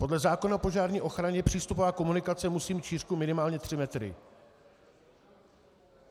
Podle zákona o požární ochraně přístupová komunikace musí mít šířku minimálně tři metry.